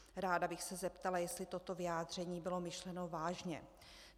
Ráda bych se zeptala, jestli toto vyjádření bylo myšleno vážně.